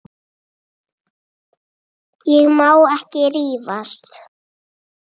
Ég má ekki rífast.